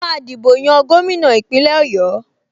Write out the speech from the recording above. Wọ́n máa dìbò yan gómìnà Ìpínlẹ̀ Ọ̀yọ́